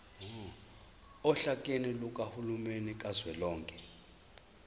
ohlakeni lukahulumeni kazwelonke